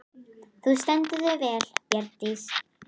Þú stendur þig vel, Bjargdís!